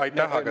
Aitäh!